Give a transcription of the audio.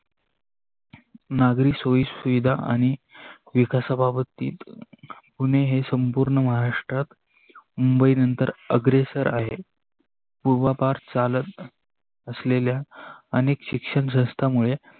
नागरी सोयी सुविधा आणि विकासाबाबतीत पुणे हे संपूर्ण महाराष्ट्रात मुंबई नंतर अग्रेसर आहे. पुर्वापार चाल असलेल्या अनेक शिक्षण संस्थामुळे